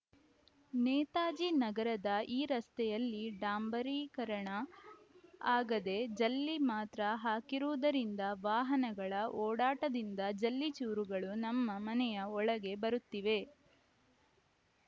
ನೇತಾಜಿ ನಗರದ ಈ ರಸ್ತೆಯಲ್ಲಿ ಡಾಂಬರೀಕರಣ ಆಗದೆ ಜಲ್ಲಿ ಮಾತ್ರ ಹಾಕಿರುವುದರಿಂದ ವಾಹನಗಳ ಓಡಾಟದಿಂದ ಜಲ್ಲಿ ಚೂರುಗಳು ನಮ್ಮ ಮನೆಯ ಒಳಗೆ ಬರುತ್ತಿವೆ